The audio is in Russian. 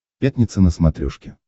пятница на смотрешке